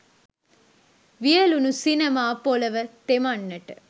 වියළුණු සිනමා පොළව තෙමන්නට